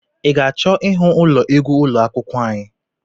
I ga-achọ ịhụ ụlọ egwu ụlọ akwụkwọ anyị?